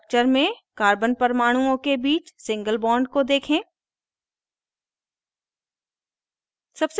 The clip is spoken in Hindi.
structures में carbon परमाणुओं के बीच single bond को देखें